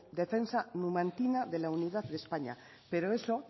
defensa numantina de la unidad de españa pero eso